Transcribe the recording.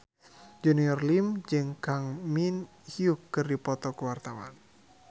Junior Liem jeung Kang Min Hyuk keur dipoto ku wartawan